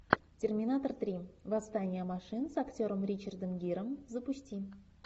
терминатор три восстание машин с актером ричардом гиром запусти